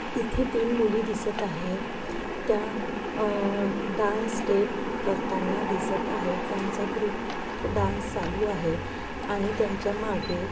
इथे तीन मुली दिसत आहेत त्या अ डांस स्टेप करताना दिसत आहेत त्यांचा ग्रुप डांस चालू आहे आणि त्यांच्या मागे--